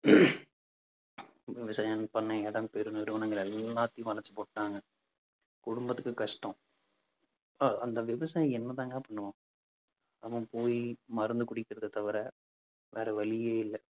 விவசாயம் பண்ண இடம் பெரு நிறுவனங்கள் எல்லாத்தையும் வளைச்சு போட்டுட்டாங்க. குடும்பத்துக்கு கஷ்டம். அஹ் அந்த விவசாயி என்னதாங்க பண்ணுவான் அவன் போய் மருந்து குடிக்கிறதைத் தவிர வேற வழியே இல்லை.